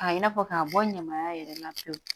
Ka i n'a fɔ k'a bɔ ɲamaya yɛrɛ la pewu